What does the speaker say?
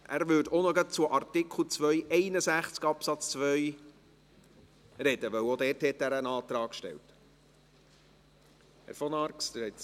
Er wird auch gleich zu Artikel 261 Absatz 2 sprechen, weil er auch zu diesem einen Antrag gestellt hat.